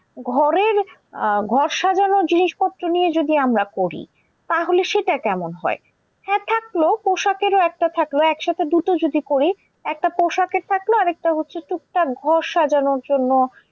ঘরের আহ ঘর সাজানোর জিনিস পত্র নিয়ে যদি আমরা করি তাহলে সেটা কেমন হয়? হ্যাঁ থাকলো পোশাকেরও একটা থাকলো একসাথে দুটো যদি করি। একটা পোশাকের থাকলো, আরেকটা হচ্ছে টুকটাক ঘর সাজানোর জন্য